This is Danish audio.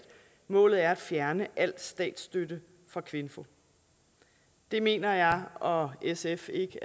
målet er at fjerne al statsstøtte fra kvinfo det mener jeg og sf ikke